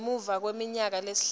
ngemuva kweminyaka lesihlanu